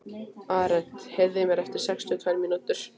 Arent, heyrðu í mér eftir sextíu og tvær mínútur.